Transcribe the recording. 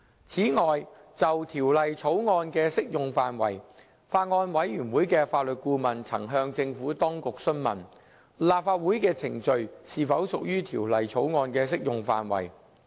此外，就《條例草案》的適用範圍，法案委員會的法律顧問曾向政府當局詢問，立法會的程序是否屬於《條例草案》的適用範圍。